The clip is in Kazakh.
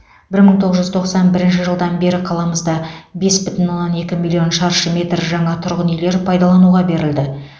бір мың тоғыз жүз тоқсан бірінші жылдан бері қаламызда бес бүтін оннан екі миллион шаршы метр жаңа тұрғын үйлер пайдалануға берілді